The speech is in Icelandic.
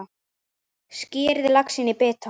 Skerið laxinn í bita.